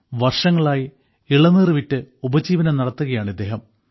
വർഷങ്ങളായി ഇളനീർ വിറ്റ് ഉപജീവനം നടത്തുകയാണ് അവർ